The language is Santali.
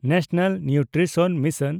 national nutrition mission